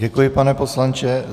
Děkuji, pane poslanče.